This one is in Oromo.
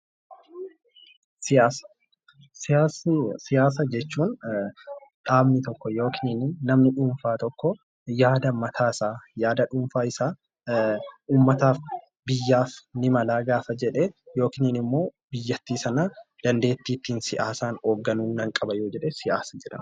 Siyaasa jechuun dhaabni tokko yookiin namni dhuunfaa tokko yaada mataasaa yaada dhuunfaasaa uummataaf biyyaaf ni mala gaafa jedhee yookiin immoo biyyattii sana dandeettii ittiin siyaasaan hoogganu gaafa qabaatudha.